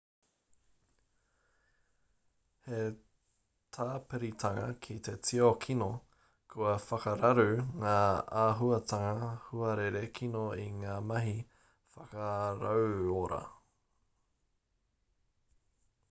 hei tāpiritanga ki te tio kino kua whakararu ngā āhuatanga huarere kino i ngā mahi whakarauora